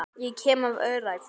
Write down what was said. Ég kem af öræfum.